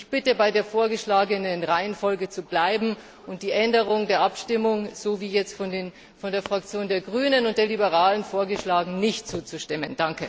Ich bitte, bei der vorgeschlagenen Reihenfolge zu bleiben und der Änderung der Abstimmung, wie jetzt von der Fraktion der Grünen und der Liberalen Fraktion vorgeschlagen wurde, nicht zuzustimmen!